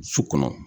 Su kɔnɔ